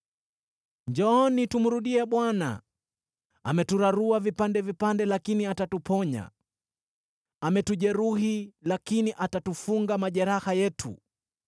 “Njooni, tumrudie Bwana . Ameturarua vipande vipande lakini atatuponya; ametujeruhi lakini atatufunga majeraha yetu.